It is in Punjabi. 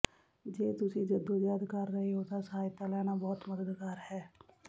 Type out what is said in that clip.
ਜੇ ਤੁਸੀਂ ਜੱਦੋਜਹਿਦ ਕਰ ਰਹੇ ਹੋ ਤਾਂ ਸਹਾਇਤਾ ਲੈਣਾ ਬਹੁਤ ਮਦਦਗਾਰ ਹੈ